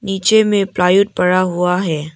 नीचे में प्लाईवुड पड़ा हुआ है।